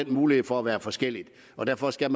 mulighed for at være forskellige og derfor skal